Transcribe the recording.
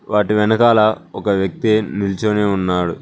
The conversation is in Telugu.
వాటి వెనకాల ఒక వ్యక్తి నిల్చోని ఉన్నాడు.